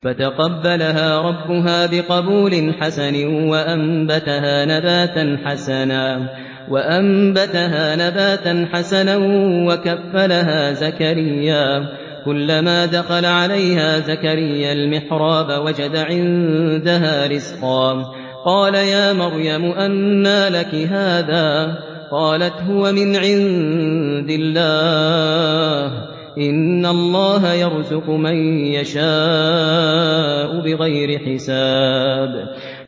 فَتَقَبَّلَهَا رَبُّهَا بِقَبُولٍ حَسَنٍ وَأَنبَتَهَا نَبَاتًا حَسَنًا وَكَفَّلَهَا زَكَرِيَّا ۖ كُلَّمَا دَخَلَ عَلَيْهَا زَكَرِيَّا الْمِحْرَابَ وَجَدَ عِندَهَا رِزْقًا ۖ قَالَ يَا مَرْيَمُ أَنَّىٰ لَكِ هَٰذَا ۖ قَالَتْ هُوَ مِنْ عِندِ اللَّهِ ۖ إِنَّ اللَّهَ يَرْزُقُ مَن يَشَاءُ بِغَيْرِ حِسَابٍ